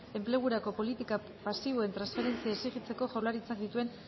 enplegurako politika pasiboen transferentzia exijitzeko jaurlaritzak dituen